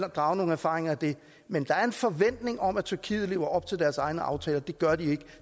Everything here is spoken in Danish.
drage nogle erfaringer af det men der er en forventning om at tyrkiet lever op til deres egne aftaler det gør de ikke